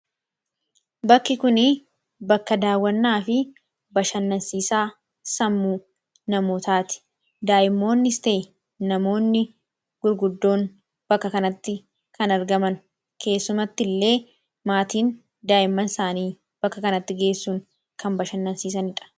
Bakki kun bakka daawwannaa fi bashannansiisaa sammuu namootaati. Daa'imoonnis ta'ee namoonni gurguddoon bakka kanatti kan argaman keessumattillee maatiin daa'imman isaanii bakka kanatti geessuun kan bashannansiisanidha.